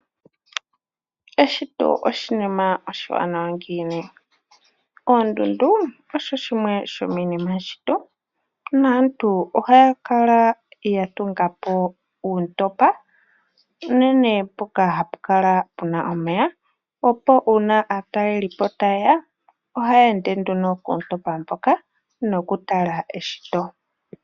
Eshito oshinima oshiwanawa ngiini . Oondundu odho dhimwe dhomiinima yeshito naantu ohaya kala yatunga po uuntopa, unene mpoka hapu kala puna omeya opo uuna aataleli po taye ya , ohaye ende nduno koontopa ndhoka nokutala eshito.